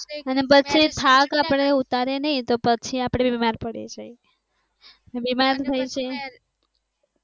અને પછી આપણે થાક ઉતારીએ નહિ તો આપણે બીમાર પડી જાય અને બીમાર પડી જાય